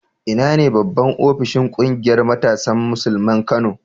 Ina ne babban ofishin ƙungiyar matasan Musulmin Kano?